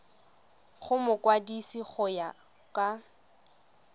go mokwadise go ya ka